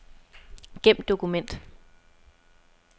Gem dokument.